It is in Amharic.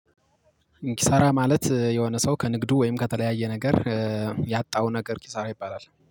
ኪሳራ ማለት የሆነ ሰው ከንግዱ ወይም ከተለያየ ነገር ያጣው ነገር ኪሳራ ይባላል